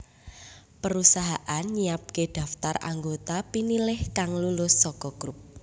Perusahaan nyiapké daftar anggota pinilih kang lulus saka grup